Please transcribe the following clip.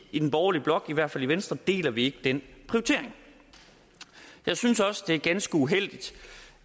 i den borgerlige blok i hvert fald i venstre deler vi ikke den prioritering jeg synes også det er ganske uheldigt